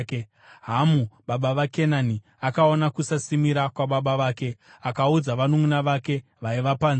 Hamu, baba vaKenani, akaona kusasimira kwababa vake akaudza mukoma wake nomununʼuna vake vaiva panze.